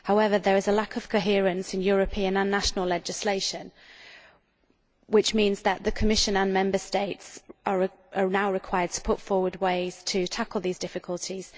However, there is a lack of coherence in European and national legislation, which means that the Commission and Member States are now required to put forward ways to tackle these difficulties.